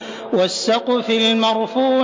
وَالسَّقْفِ الْمَرْفُوعِ